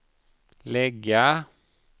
lägga